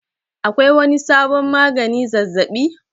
Akwai wani sabon magani zazzabi?